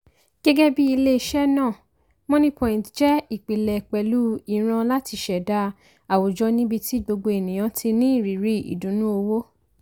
gẹ́gẹ́ bí i ilé-iṣẹ́ náà moniepoint jẹ ìpìlẹ̀ pẹlú ìran láti ṣẹ̀dá àwùjọ níbi tí gbogbo ènìyàn ti ní ìrírí ìdùnnú owó